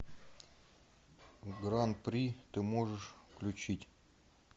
гран при ты можешь включить